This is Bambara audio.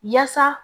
Yaasa